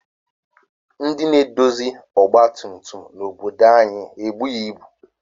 Ndị na-edozi ọgbatumtum n'obodo anyị ebughị ibu